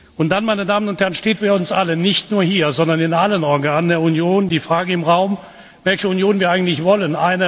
Und dann, meine Damen und Herren, steht für uns alle nicht nur hier, sondern in allen Organen der Union die Frage im Raum, welche Union wir eigentlich wollen.